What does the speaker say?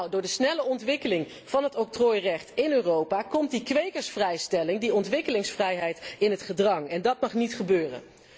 Door de snelle ontwikkeling van het octrooirecht in Europa komt de kwekersvrijstelling, de ontwikkelingsvrijheid in het gedrang en dat mag niet gebeuren.